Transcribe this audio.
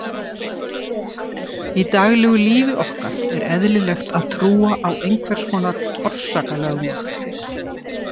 í daglegu lífi okkar er eðlilegt að trúa á einhvers konar orsakalögmál